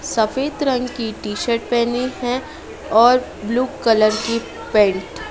सफेद रंग की टी शर्ट पहनी है और ब्लू कलर की पैंट ।